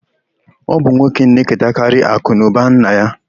Ọ bụ ụmụnwoke na-eketekarị akụnụba nna ha.